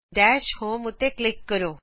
ਦਸ਼ homeਉਤੇ ਕਲਿਕ ਕਰੋ